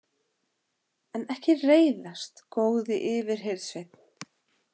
En ekki reiðast, góði yfirhirðsveinn.